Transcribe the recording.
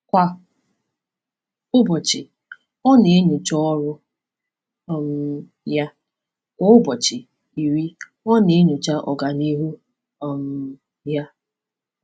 Kwa ụbọchị, ọ na-enyocha ọrụ um ya, kwa ụbọchị iri ọ na-enyocha ọganihu um ya.